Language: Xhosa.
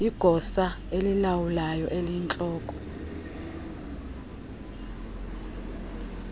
igosa elilawulayo eliyintloko